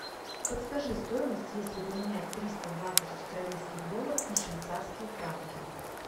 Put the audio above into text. подскажи стоимость если поменять триста двадцать австралийских долларов на швейцарские франки